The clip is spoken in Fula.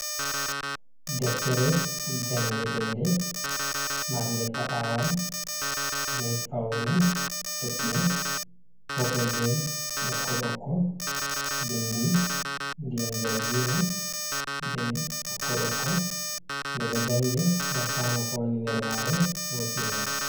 Deftere jangetende marnde paɓawal bee fawne toɓɓe purple bee ɓokko ɓokko binndi ndiyam jargina bee ɓokko ɓokko. Nde ɗo jannge ngam faama ko woni nder maare huutinira.